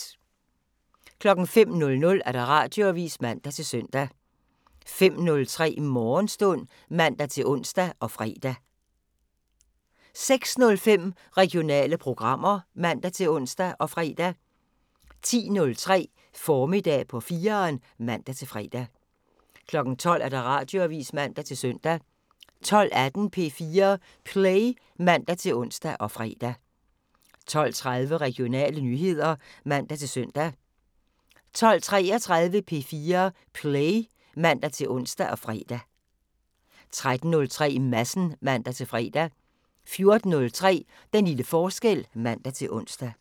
05:00: Radioavisen (man-søn) 05:03: Morgenstund (man-ons og fre) 06:05: Regionale programmer (man-ons og fre) 10:03: Formiddag på 4'eren (man-fre) 12:00: Radioavisen (man-søn) 12:18: P4 Play (man-ons og fre) 12:30: Regionale nyheder (man-søn) 12:33: P4 Play (man-ons og fre) 13:03: Madsen (man-fre) 14:03: Den lille forskel (man-ons)